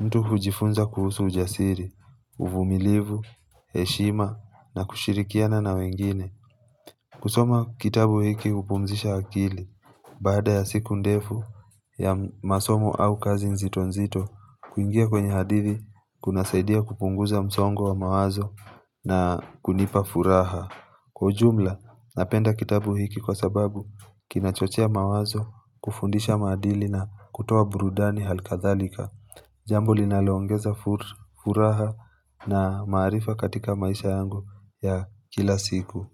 mtu hujifunza kuhusu ujasiri, uvumilivu, heshima na kushirikiana na wengine kusoma kitabu hiki hupumzisha akili baada ya siku ndefu ya masomo au kazi nzito nzito kuingia kwenye hadithii, kuna saidia kupunguza msongo wa mawazo na kunipa furaha Kwa ujumla napenda kitabu hiki kwa sababu kinachochea mawazo kufundisha madili na kutoa burudani hali kadhalika Jambo linalongeza furaha na maarifa katika maisha yangu ya kila siku.